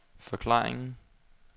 forklaringen